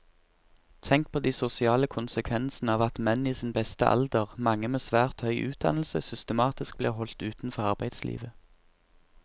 Tenk på de sosiale konsekvensene av at menn i sin beste alder, mange med svært høy utdannelse, systematisk blir holdt utenfor arbeidslivet.